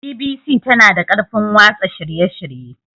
BBC tana da ƙarfin watsa shirye-shirye.